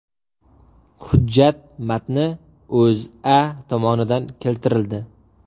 Hujjat matni O‘zA tomonidan keltirildi .